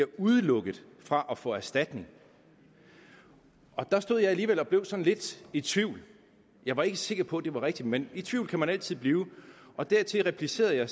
udelukket fra at få erstatning der stod jeg alligevel og blev sådan lidt i tvivl jeg var ikke sikker på at det var rigtigt men i tvivl kan man altid blive og dertil replicerede jeg